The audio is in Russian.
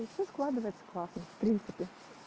и всё складывается классно в принципе